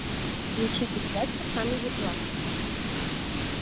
включи передачу камеди клаб